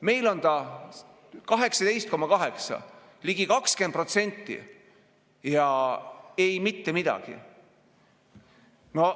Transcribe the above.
Meil on see 18,8%, ligi 20% – ja mitte midagi.